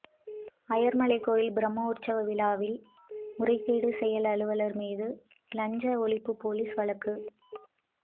அய்யர்மலை கோயில் பிரமோற்சவ விழாவில் முறைகேடு செயல் அலுவலர் மீது லஞ்ச ஒழிப்பு போலீஸ் வழக்கு